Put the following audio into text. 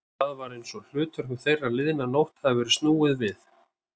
Það var einsog hlutverkum þeirra liðna nótt hefði verið snúið við.